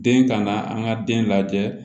Den ka na an ka den lajɛ